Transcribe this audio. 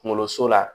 Kunkoloso la